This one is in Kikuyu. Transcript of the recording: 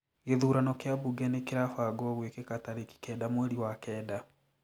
Gĩthurano kĩa bunge nĩ kirafangwo gwĩkĩka tarĩki kenda mweri wa kenda.